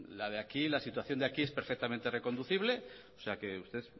la de aquí la situación de aquí es perfectamente reconducible o sea que usted